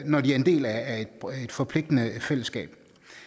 når de er en del af et forpligtende fællesskab